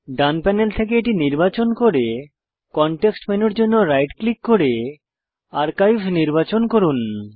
ডান panel থেকে এটি নির্বাচন করে কনটেক্সট মেনুর জন্য রাইট ক্লিক করে আর্কাইভ নির্বাচন করুন